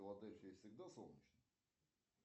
в филадельфии всегда солнечно